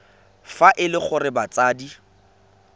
fa e le gore batsadi